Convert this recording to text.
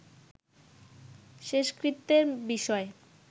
শেষকৃত্যের বিষয়ে